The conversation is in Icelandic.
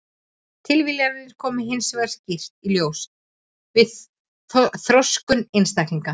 Tilviljanirnar koma hins vegar skýrt í ljós við þroskun einstaklinga.